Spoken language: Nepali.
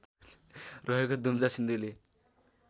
रहेको दुम्जा सिन्धुली